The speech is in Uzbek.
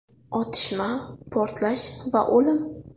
Otishma, portlash va o‘lim.